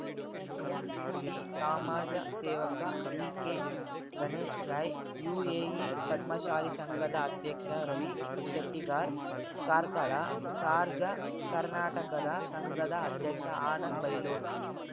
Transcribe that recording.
ಹಿರಿಯ ಶಿಲ್ಪಿ ಸಮಾಜಸೇವಕ ಬಿಕೆಗಣೇಶ್ ರೈ ಯುಎಇ ಪದ್ಮಶಾಲಿ ಸಂಘದ ಅಧ್ಯಕ್ಷ ರವಿ ಶೆಟ್ಟಿಗಾರ್ ಕಾರ್ಕಳ ಶಾರ್ಜಾ ಕರ್ನಾಟಕದ ಸಂಘದ ಅಧ್ಯಕ್ಷ ಆನಂದ್ ಬೈಲೂರ್